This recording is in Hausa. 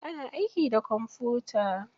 Ana aiki da kwamfuta.